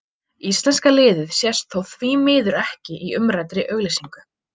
Íslenska liðið sést þó því miður ekki í umræddri auglýsingu.